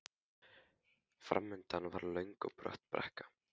Framundan var löng og brött brekka.